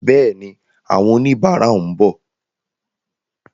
Bẹ́ẹ̀ni, àwọn oníbàárà ń bọ̀.